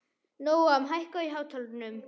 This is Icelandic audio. Nóam, hækkaðu í hátalaranum.